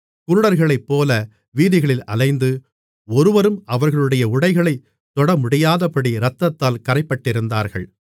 குருடர்களைப்போல வீதிகளில் அலைந்து ஒருவரும் அவர்களுடைய உடைகளைத் தொடமுடியாதபடி இரத்தத்தால் கறைப்பட்டிருந்தார்கள்